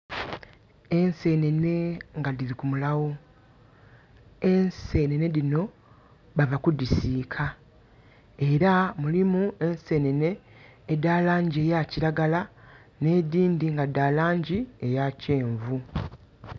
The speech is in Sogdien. Ensenhenhe nga dhiri ku mulaawo, ensenhenhe dhinho bava kudhisiika. Era mulimu ensenhenhe edha langi ya kiragala, nh' edhindhi nga dha langi eya kyenvu.